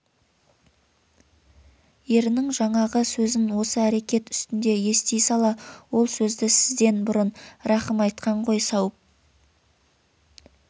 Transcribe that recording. ерінің жаңағы сөзін осы әрекет үстінде ести сала ол сөзді сізден бұрын рахым айтқан қой сауып